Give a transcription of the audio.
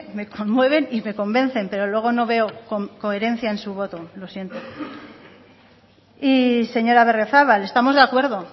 me conmueven y me convencen pero luego no veo coherencia en su voto lo siento y señora berriozabal estamos de acuerdo